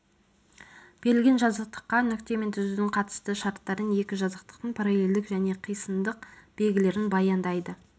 берілген жазықтыққа нүкте мен түзудің қатысты шарттарын екі жазықтықтың параллельдік және қисындық белгілерін баяндайды